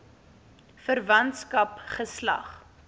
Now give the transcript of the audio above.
verwantskap geslag